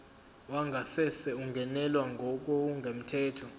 wangasese ungenelwe ngokungemthetho